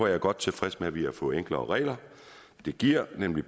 jeg godt tilfreds med at vi har fået enklere regler det giver nemlig